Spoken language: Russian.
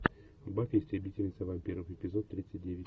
баффи истребительница вампиров эпизод тридцать девять